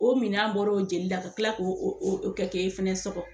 O minan bɔr'o jeli la ka kila k'o o o kɛ e fɛnɛ sɔgɔ.